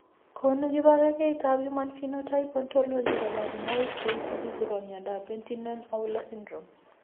Konu kibagengeitab Human Phenotype Ontology kaborunoik cheisubi chebo miondop Penttinen Aula syndrome.